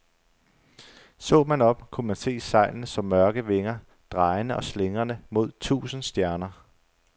Så man op, kunne man se sejlene som mørke vinger, drejende og slingrende mod tusinde stjerner.